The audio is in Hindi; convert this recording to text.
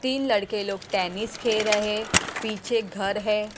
तीन लड़के लोग टेनिस खेल रहे पीछे घर है।